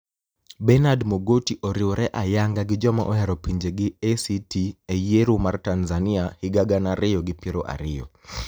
Beniard Mogoti oriwore ayaniga gi joma ohero pinijegi ACT e yiero mar tanizaniia higa gana ariyo gi piero ariyo